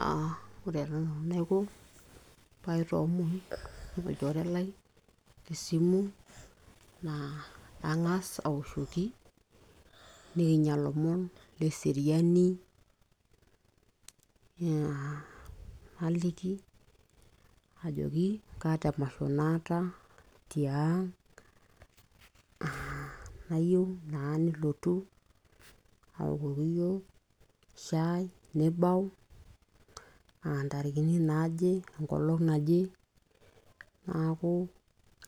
aa ore taa nanu enaiko paitoomon olchore lai tesimu naa kang'as awoshoki nikinyia ilomon leseriani, aa naliki ajoki kaata emasho naata tiang aa nayieu naa nilotu aokoki iyiok shai nibau intarikini naaje enkolong naje naaku